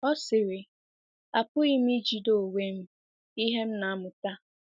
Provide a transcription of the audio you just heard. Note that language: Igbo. Ọ sịrị, apụghị m ijide onwe m ihe m na-amụta.